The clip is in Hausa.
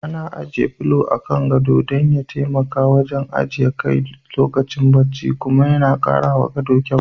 Ana ajiye polo a kan gado dan ya taimaka wajen ajiye kai lokacin bacci kuma yana karawa gado kyau.